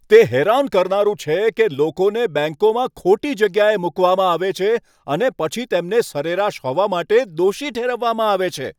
તે હેરાન કરનારું છે કે લોકોને બેંકોમાં ખોટી જગ્યાએ મૂકવામાં આવે છે, અને પછી તેમને સરેરાશ હોવા માટે દોષી ઠેરવવામાં આવે છે.